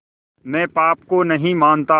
मैं पाप को नहीं मानता